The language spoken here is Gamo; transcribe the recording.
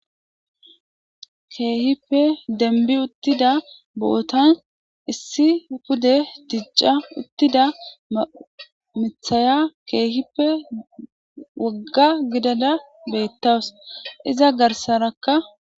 keehippe denbi uttida bootan issi pude tijca uttida mithaya keehippe wagga gidala beettawus iza garsarakka